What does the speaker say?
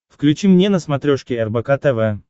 включи мне на смотрешке рбк тв